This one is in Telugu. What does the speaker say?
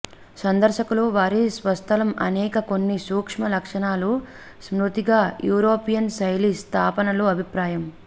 సందర్శకులు వారి స్వస్థలం అనేక కొన్ని సూక్ష్మ లక్షణాలు స్మృతిగా యూరోపియన్ శైలి స్థాపనలు అభిప్రాయం